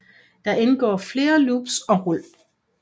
Der indgår flere loops og rul